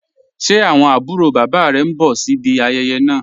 Ṣẹ́ awọn abùrò baba rẹ̀ ǹ bọ̀ sí ìbí ayéyé naa?